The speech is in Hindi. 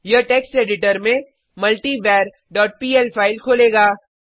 यह टेक्स्ट एडिटर में मल्टीवर डॉट पीएल फाइल खोलेगा